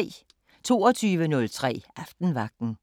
22:03: Aftenvagten